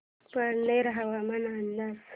पारनेर हवामान अंदाज